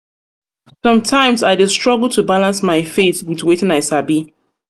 sometimes i dey struggle to balance my faith with faith with wetin i sabi.